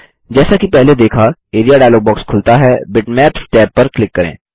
जैसा कि पहले देखा एआरईए डायलॉग बॉक्स खुलता हैBitmaps टैब पर क्लिक करें